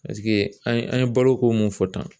Paseke an ye an ye balo ko mun fɔ tan